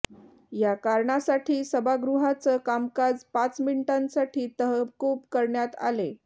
या कारणासाठी सभागृहाचं कामकाज पाच मिनिटांसाठी तहकूब करण्यात आले